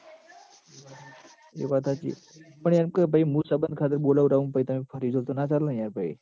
એ વાત હાચી પણ એમ કે ભાઈ મું સંબંધ ખાતર બોલાવડાવું ન પહિ તમે ફરી જો તો ના ચાલ યાર પહી